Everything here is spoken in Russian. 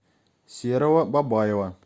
серого бабаева